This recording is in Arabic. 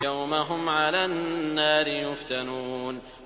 يَوْمَ هُمْ عَلَى النَّارِ يُفْتَنُونَ